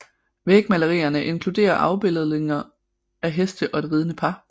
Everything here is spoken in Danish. Vægmalerierne inkluderer afbilledninger af heste og et ridende par